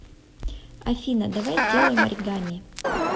афина давай сделаем оригами